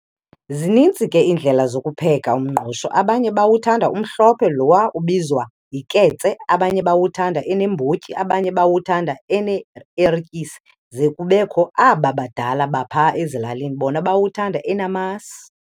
Zininzi ke indlela zokupheka umngqusho abanye bawuthanda umhlophe lowa ubizwa yiketse abanye bawuthanda eneembotyi abanye bawuthanda ene ertyisi ze kubekho aba badala bapha ezilalini bona bawuthanda enamasi.